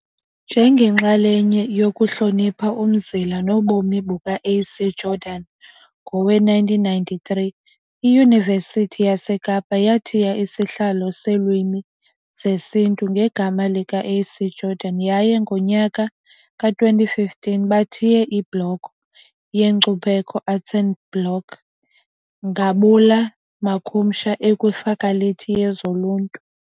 Njengenxalenye yokuhlonipha umzila nobomi buka A.C Jordan, ngowe-1993 iYunivesithi yaseKapa yathiya isihlalo seeLwimi zesiNtu ngegama lika A.C Jordan yaye ngonyaka wama-2015 bathiye ibloko yenkcubeko, Arts Block ngabula makhumsha ekwiFakhalithi yezoLuntu